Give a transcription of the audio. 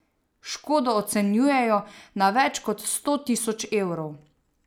Škodo ocenjujejo na več kot sto tisoč evrov.